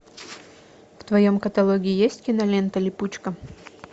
в твоем каталоге есть кинолента липучка